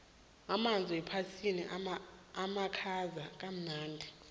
amanzi wepetsini amakhaza kamnandi